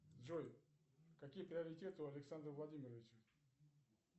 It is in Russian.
джой какие приоритеты у александра владимировича